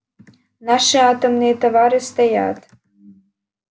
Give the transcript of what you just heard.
наши атомные товары стоят